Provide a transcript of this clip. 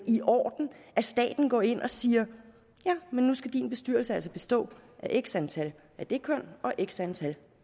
i orden at staten går ind og siger nu skal din bestyrelse altså bestå af x antal af det køn og x antal